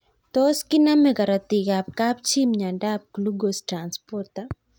Tos kiname karatik ab kapchii miondop Glucose transporter